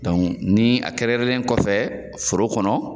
ni a kɛrɛnkɛrɛnlen kɔfɛ foro kɔnɔ